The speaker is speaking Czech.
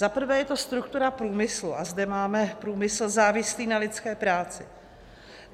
Za prvé je to struktura průmyslu - a zde máme průmysl závislý na lidské práci.